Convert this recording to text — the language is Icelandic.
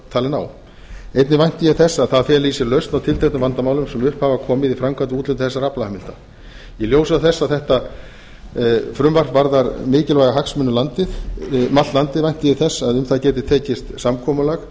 talin á einnig vænti ég þess að það feli í sér lausn á tilteknum vandamálum sem upp hafa komið í framkvæmd við úthlutun þessara aflaheimilda í ljósi þess að þetta frumvarp varðar mikilvæga hagsmuni um allt landið vænti ég þess að um það geti tekist samkomulag